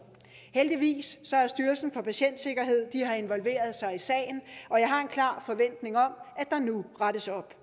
heldigvis har styrelsen for patientsikkerhed involveret sig i sagen og jeg har en klar forventning om at der nu rettes op